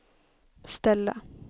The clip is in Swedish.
ställa